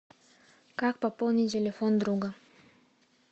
как пополнить телефон друга